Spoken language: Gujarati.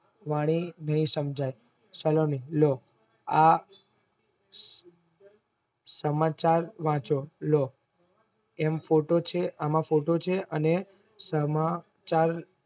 વાણી ની સમજાય સલોની લો આ સમાચાર વાચો લો એમ photo છે, આમાં photo છે, અને સમાચાર